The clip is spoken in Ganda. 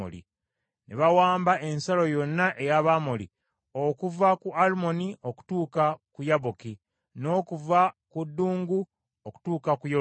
Ne bawamba ensalo yonna ey’Abamoli okuva ku Alunoni okutuuka ku Yaboki, n’okuva ku ddungu okutuuka ku Yoludaani.